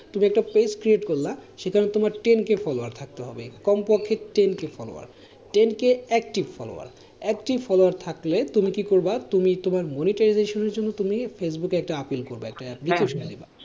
তুমি একটা page create করলা, সেখানে তোমার ten k followers থাকতে হবে, কমপক্ষে ten k follower, ten k active follower, active follower থাকলে তুমি কি করবা তুমি তোমার monetization এর জন্য ফেসবুকে একটা appeal করবা, একটা application দেবা,